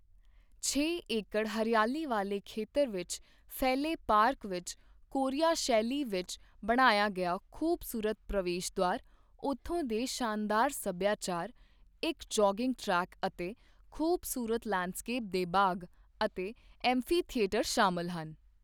ਛੇ ਏਕਡ਼ ਹਰਿਆਲੀ ਵਾਲੇ ਖੇਤਰ ਵਿਚ ਫੈਲੇ ਪਾਰਕ ਵਿਚ ਕੋਰੀਆ ਸ਼ੈਲੀ ਵਿਚ ਬਣਾਇਆ ਗਿਆ ਖੂਬਸੂਰਤ ਪ੍ਰਵੇਸ਼ ਦ੍ਵਾਰ ਉਥੋਂ ਦੇ ਸ਼ਾਨਦਾਰ ਸੱਭਿਆਚਾਰ, ਇਕ ਜਾਗਿੰਗ ਟ੍ਰੈਕ ਅਤੇ ਖੂਬਸੂਰਤ ਲੈਂਡਸਕੇਪ ਦੇ ਬਾਗ ਅਤੇ ਐਂਫੀਥੀਏਟਰ ਸ਼ਾਮਿਲ ਹਨ।